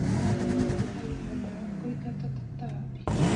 Arĩmi mahũthagĩra dawa kũingata tũtambi.